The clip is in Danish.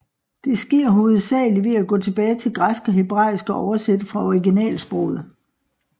Det sker hovedsageligt ved at gå tilbage til græsk og hebraisk og oversætte fra originalsproget